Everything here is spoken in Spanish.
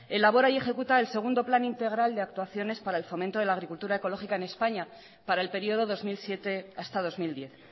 elabora y ejecuta el segundo plan integral de actuaciones para el fomento de la agricultura ecológica en españa para el periodo dos mil siete hasta dos mil diez